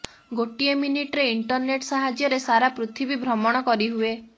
ଗୋଟିଏ ମିନିଟରେ ଇଣ୍ଟରନେଟ୍ ସାହାଯ୍ୟରେ ସାରା ପୃଥିବୀ ଭ୍ରମଣ କରିହୁଏ